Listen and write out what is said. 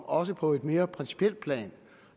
også på et mere principielt plan